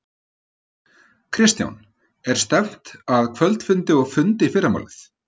Kristján: Er stefnt að kvöldfundi og fundi í fyrramálið?